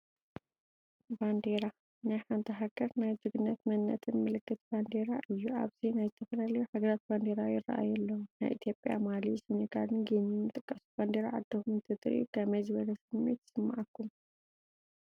ባንዴራ፡- ናይ ሓንቲ ሃገር ናይ ጅግንነትን መንነትን ምልክት ባንዴራ እዩ፡፡ ኣብዚ ናይ ዝተፈላለዩ ሃገራት ባንዴራ ይራኣዩ ኣለው፡፡ ናይ ኢ/ያ፣ ማሊ፣ ሴኔጋልን ጊኒን ይጥቀሱ፡፡ ባንዴራ ዓድኹም እንትትሪኡ ከመይ ዝበለ ስምዒት ይስማዓኩም?